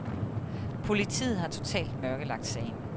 Politiet har totalt mørkelagt sagen.